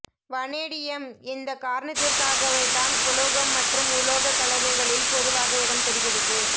vanadium இந்தக் காரணத்திற்காகவேதான் உலோகம் மற்றும் உலோக கலவைகளில் பொதுவாக இடம் பெறுகிறது